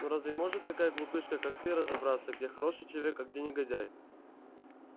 ну разве может такая глупышка как ты разобраться где хороший человек а где негодяй